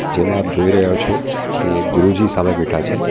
જેમાં આપ જોઈ રહ્યા છો કે ગુરુજી સામે બેઠા છે.